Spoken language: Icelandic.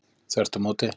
Þvert á móti